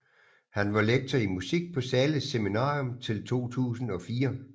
Han var lektor i musik på Zahles Seminarium til 2004